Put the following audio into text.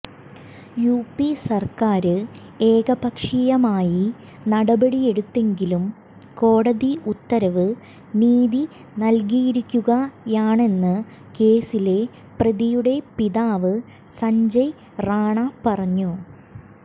UP സര്ക്കാര് ഏകപക്ഷീയമായി നടപടിയെടുത്തെങ്കിലും കോടതി ഉത്തരവ് നീതി നല്കിയിരിക്കുകയാണെന്ന് കേസിലെ പ്രതിയുടെ പിതാവ് സഞ്ജയ് റാണ പറഞ്ഞു